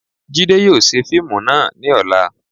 Jide yóò ṣe fiimú náá ni ọla